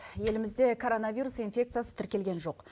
елімізде короновирус инфекциясы тіркелген жоқ